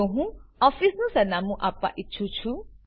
જો હું ઓફીસનું સરનામું આપવા ઈચ્છું છું